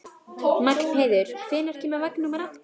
Magnheiður, hvenær kemur vagn númer átta?